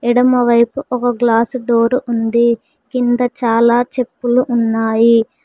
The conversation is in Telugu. ఎడమ వైపు ఒక గ్లాసు డోర్ ఉంది కింద చాలా చెప్పులు ఉన్నాయి.